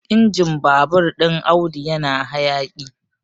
injin babur ɗin Audu yana hayaƙi